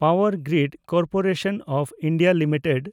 power grid corporation of India limited